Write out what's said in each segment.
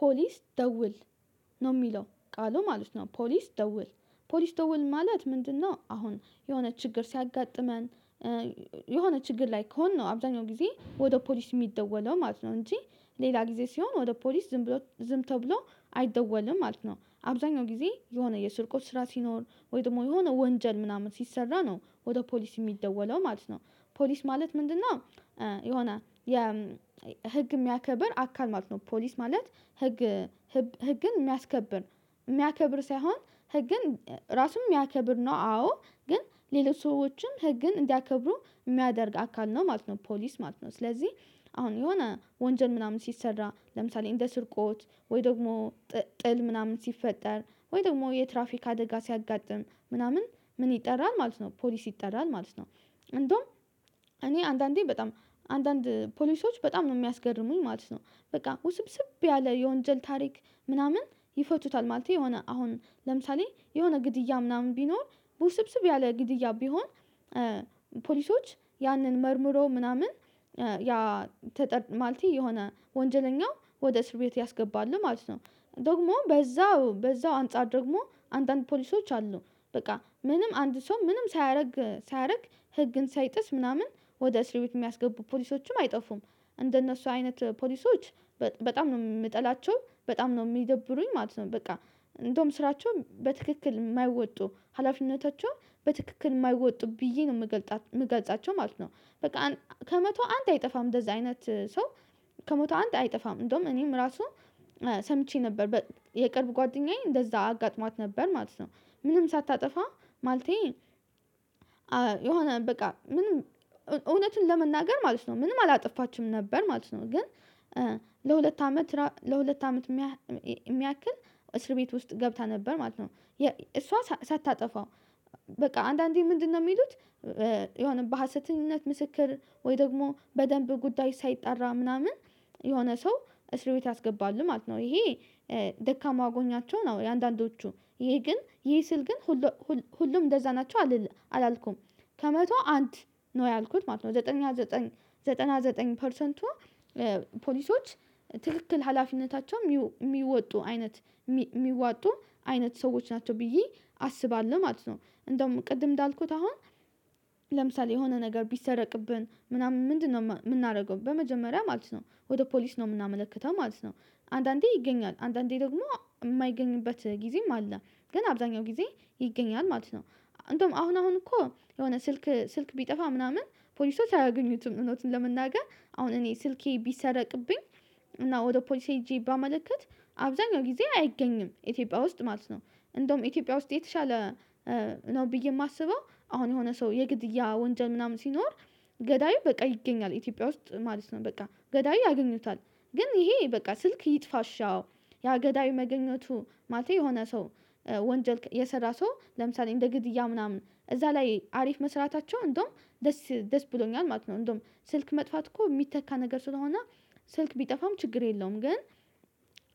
ፖሊስ ደውል ነው የሚለው ቃሉ ማለት ነው። ፖሊስ ደውል ፖሊስ ደውል ማለት ምንድነው? አሁን የሆነ ችግር ሲያጋጥመን። የሆነ ችግር ላይ ከሆ አብዛኛው ጊዜ ወደ ፖሊስ የሚደወለው ማለት ነው እንጂ ሌላ ጊዜ ሲሆን ወደ ፖሊስ ዝም ብሎ ዝም ተብሎ አይደወልም ማለት ነው። አብዛኛው ጊዜ የሆነ የስርቆት ስራ ሲኖር ወይ ደግሞ የሆነ ወንጀል ምናምን ሲሰራ ነው ወደ ፖሊስ የሚደወለው ማለት ነው። ፖሊስ ማለት ምንድነው? የሆነ የህግ የሚያከብር አካል ማለት ነው። ፖሊስ ማለት ህግ ህግን የሚያስከብር የሚያከብር ሳይሆን ህግን ራሱን የሚያከብር ነው። አዎ ግን ሌሎች ሰዎችም ህግን እንዲያከብሩ የሚያደርግ አካል ነው ማለት ነው። ፖሊስ ማለት ነው። ስለዚህ አሁን የሆነ ወንጀል ምናምን ሲሰራ ለምሳሌ እንደ ስርቆት ወይ ደግሞ ጥል ምናምን ሲፈጠር ወይ ደግሞ የትራፊክ አደጋ ሲያጋጥም ምናምን ምን ይጠራል ማለት ነው? ፖሊስ ይጠራል ማለት ነው። እንደውም እኔ አንዳንዴ በጣም አንዳንድ ፖሊሶች በጣም ነው የሚያስገርሙኝ ማለት ነው። በቃ ውስብስብ ያለ የወንጀል ታሪክ ምናምን ይፈቱታል ማለት የሆነ አሁን ለምሳሌ የሆነ ግድያ ምናምን ቢኖር በውስብስብ ያለ ግድያ ቢሆን ፖሊሶች ያንን መርምሮ ምናምን ማለቴ የሆነ ወንጀለኛው ወደ እስርቤት ያስገባሉ ማለት ነው። ደግሞ በዛው በዛው አንፃር ደግሞ አንዳንድ ፖሊሶች አሉ በቃ ምንም አንድ ሰው ምንም ሳያደርግ ሳያደርግ ህግን ሳይጥስ ምናምን ወደ እስር ቤት የሚያስገቡ ፖሊሶችም አይጠፉም እንደነሱ አይነት ፖሊሶች። በጣም ነው የምጠላቸው በጣም ነው የሚደብሩኝ ማለት ነው። በቃ እንደውም ስራቸውን በትክክል የማይወጡ ሀላፊነታቸውን በትክክል የማይወጡ ብዬ ነው የምገልፃቸው ማለት ነው። በቃ ከመቶ አንድ አይጠፋም እንደዚህ አይነት ሰው። ከመቶ አንድ አይጠፋም እንደውም እኔም ራሱ ሰምቼ ነበር የቅርብ ጓደኛዬ እንደዛ አጋጥሟት ነበር ማለት ነው። ምንም ሳታጠፋ ማለቴ የሆነ በቃ ምንም እውነትን ለመናገር ማለት ነው ምንም አላጠፋችም ነበር ማለት ነው። ግን ለሁለት አመት ለሁለት አመት የሚያክል እስር ቤት ውስጥ ገብታ ነበር ማለት ነው። እሷ ሳታጠፋ በቃ አንዳንዴ ምንድነው የሚሉት? የሆነ በሀሰተኝነት ምስክር ወይ ደግሞ በደንብ ጉዳይ ሳይጠራ ምናምን የሆነ ሰው እስር ቤት ያስገባሉ ማለት ነው። ይሄ ደካማ አጎኛቸው ነው የአንዳንዶቹ ይሄ ግን ይሄ ስል ግን ሁሉ ሁሉም እንደዛ ናቸው አላልኩም። ከመቶ አንድ ነው ያልኩት ማለት ነው። ዘጠና ዘጠኝ ዘጠና ዘጠኝ ፐርሰንቱ ፖሊሶች ትክክል ሀላፊነታቸው የሚወጡ አይነት የሚወጡ አይነት ሰዎች ናቸው ብዬ አስባለሁ ማለት ነው። እንደውም ቅድም እንዳልኩት አሁን ለምሳሌ የሆነ ነገር ቢሰረቅብን ምናምን ምንድነው የምናደርገው? በመጀመሪያ ማለት ነው ወደ ፖሊስ ነው የምናመለክተው ማለት ነው። አንዳንዴ ይገኛል አንዳንዴ ደግሞ የማይገኝበት ጊዜም አለ። ግን አብዛኛው ጊዜ ይገኛል ማለት ነው። አንደውም አሁን አሁን እኮ የሆነ ስልክ ስልክ ቢጠፋ ምናምን ፖሊስ ሳያገኙትም እንደውትም ለመናገር አሁን እኔ ስልኬ ቢሰረቅብኝ እና ወደ ፖሊሴ ሄጄ ባመለከት አብዛኛው ጊዜ አይገኝም ኢትዮጵያ ውስጥ ማለት ነው። እንደውም ኢትዮጵያ ውስጥ የተሻለ ነው ብዬ የማስበው። አሁን የሆነ ሰው የግድያ ወንጀል ምናምን ሲኖር ገዳዩ በቃ ይገኛል ኢትዮጵያ ውስጥ ማለት ነው። በቃ ገዳይ ያገኙታል ግን ይሄ በቃ ስልክ ይጥፋ እሺ አዎ ያገዳይ መገኘቱ ማለት የሆነ ሰው ወንጀል የሰራ ሰው ለምሳሌ እንደ ግድያ ምናምን እዛ ላይ አሪፍ መስራታቸው እንደውም ደስ ደስ ብሎኛል ማለት ነው። እንደውም ስልክ መጥፋት እኮ የሚተካ ነገር ስለሆነ ስልክ ቢጠፋም ችግር የለውም ግን።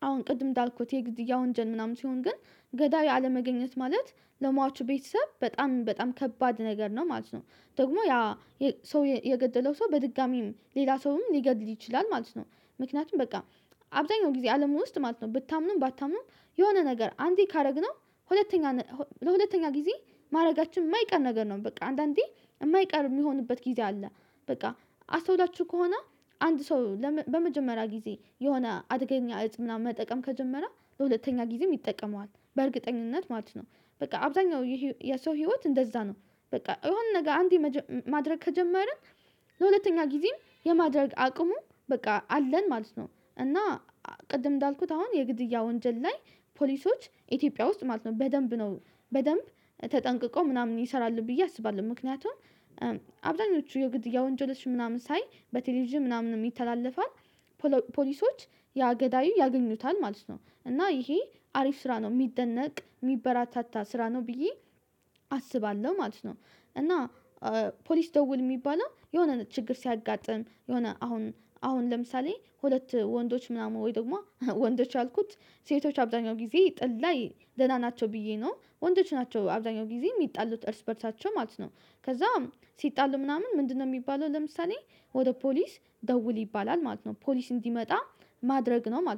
አሁን ቅድም እንዳልኩት የግድያ ወንጀል ምናምን ሲሆን ግን ገዳይ አለመገኘት ማለት ለሟቹ ቤተሰብ በጣም በጣም ከባድ ነገር ነው ማለት ነው። ደግሞ ያ ሰው የገደለው ሰው በድጋሜም ሌላ ሰውም ሊገድል ይችላል ማለት ነው። ምክንያቱም በቃ አብዛኛው ጊዜ አለም ውስጥ ማለት ነው ብታምኑም ባታምኑም የሆነ ነገር አንዴ ካደረግነው ሁለተኛ ለሁለተኛ ጊዜ ማድረጋችን የማይቀር ነገር ነው በቃ አንዳንዴ የማይቀር የሚሆንበት ጊዜ አለ። በቃ አስተውላችሁ ከሆነ አንድ ሰው በመጀመሪያ ጊዜ የሆነ አደገኛ እፅ ምናምን መጠቀም ከጀመረ በሁለተኛ ጊዜም ይጠቀመዋል በእርግጠኝነት ማለት ነው። በቃ አብዛኛው የሰው ህይወት እንደዛ ነው። በቃ የሆነ ነገር አንዴ ማድረግ ከጀመርን ለሁለተኛ ጊዜም የማድረግ አቅሙ በቃ አለን ማለት ነው። እና ቅድም እንዳልኩት አሁን የግድያ ወንጀል ላይ ፖሊሶች ኢትዮጵያ ውስጥ ማለት ነው በደንብ ነው። በደንብ ተጠንቅቀው ምናምን ይሰራል ብዬ አስባለሁ ምክንያቱም። አብዛኞቹ የግድያ ወንጀለች ምናምን ሳይ በቴሌቪዥም ምናምን ይተላለፋል። ፖሊሶች ያገዳዩ ያገኙታል ማለት ነው እና ይሄ አሪፍ ስራ ነው የሚደነቅ የሚበራታታ ስራ ነው ብዬ አስባለሁ ማለት ነው። እና ፖሊስ ደውል የሚባለው የሆነ ችግር ሲያጋጥም የሆነ አሁን አሁን ለምሳሌ ሁለት ወንዶች ምናምን ወይ ደግሞ ወንዶች አልኩት ሴቶች አብዛኛው ጊዜ ጥል ደህና ናቸው። ብዬ ነው ወንዶች ናቸው አብዛኛው ጊዜ የሚጣሉት እርስ በእርሳቸው ማለት ነው። ከዛ ሲጣሉ ምናምን ምንድነው የሚባለው ለምሳሌ ወደ ፖሊስ ደውል ይባላል ማለት ነው። ፖሊስ እንዲመጣ ማድረግ ነው ማለት ነው